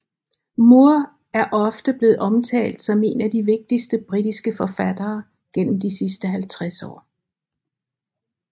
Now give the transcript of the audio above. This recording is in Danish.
Moore er ofte blevet omtalt som en af de vigtigste britiske forfattere gennem de sidste 50 år